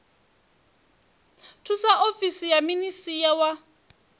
thusa ofisi ya minisia wa